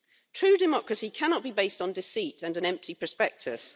True democracy cannot be based on deceit and an empty prospectus